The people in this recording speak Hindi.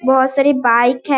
बहोत सारी बाइक है।